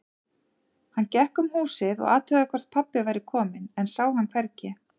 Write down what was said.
Hann gekk um húsið og athugaði hvort pabbi væri kominn, en sá hann hvergi.